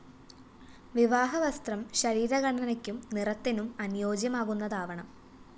വിവാഹ വസ്ത്രം ശരീര ഘടനയ്ക്കും നിറത്തിനും അനുയോജ്യമാകുന്നതാവണം